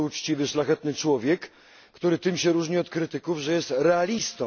Jest to uczciwy, szlachetny człowiek, który tym się różni od krytyków, że jest realistą.